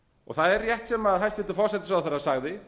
það er rétt sem hæstvirtur forsætisráðherra sagði